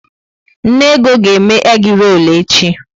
Nne Ego ga eme egi-rol echi